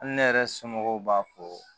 Hali ne yɛrɛ somɔgɔw b'a fɔ